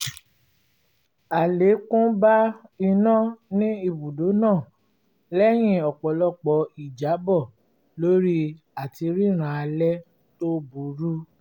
àlékún bá iná ní ibùdó náà lẹ́yìn ọ̀pọ̀lọpọ̀ ìjábọ̀ lórí àtiríran alẹ́ tó burú